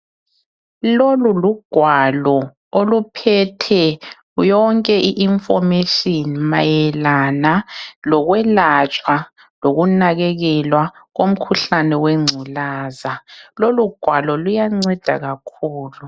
Lolu lugwalo oluphethe yonke I information mayelana lokwelatshwa lokunakakelwa komkhuhlane wengculaza lolu gwalo luyanceda kakhulu